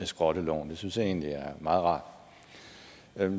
skrotte loven det synes jeg egentlig er meget rart